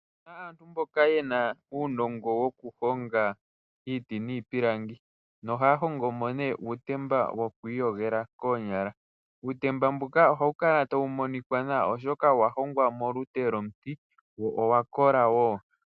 Ope na aantu mboka yena uunongo wokuhonga iiti niipilangi. Ohaya hongo mo uutemba wokwiiyigela koonyala nohawu kala tawu monika nawa oshoka owa hongwa molute lwomuti lwo olwa kola.